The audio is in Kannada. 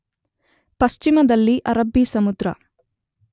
ಪಶ್ಚಿಮದಲ್ಲಿ ಅರಬ್ಬಿ ಸಮುದ್ರ